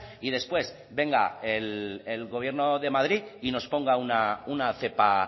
y después venga el gobierno de madrid y nos ponga una cepa